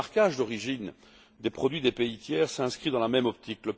Le marquage d'origine des produits des pays tiers s'inscrit dans la même optique.